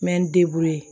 N bɛ n